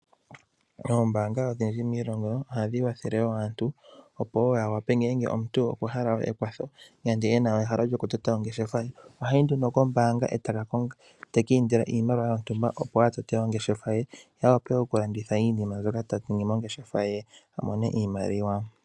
Oombaanga odhinji miilongo ohadhi wathele wo aantu opo wo yawape ngele omuntu hala ekwatho nenge ena ehalo lyokutota ongeshefa ye, ohayi nduno kombaanga ete ki indila iimaliwa yontumba opo atote ongeshefa ye ye awape okulanditha iinima mbyoka taningi mongesfa ye amone iimaliwa.